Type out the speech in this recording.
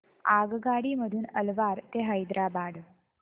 आगगाडी मधून अलवार ते हैदराबाद